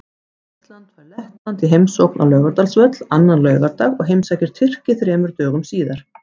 Ísland fær Lettland í heimsókn á Laugardalsvöll annan laugardag og heimsækir Tyrki þremur dögum síðar.